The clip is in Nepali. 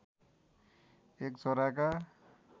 एक छोराका